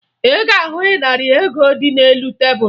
Ị ga-ahụ ịnarị ego dị n'elu tebulu